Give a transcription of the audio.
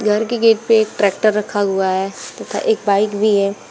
घर के गेट पे एक ट्रैक्टर रखा हुआ है तथा एक बाइक भी है।